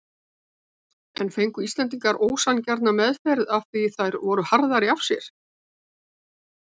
En fengu Íslendingar ósanngjarna meðferð því þær voru harðari af sér?